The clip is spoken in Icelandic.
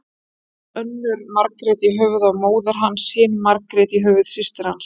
Hét önnur Margrét í höfuðið á móður hans, hin Margrét í höfuð systur hans.